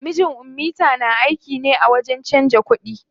Mijin ummita na aiki ne a wajen canza kuɗi.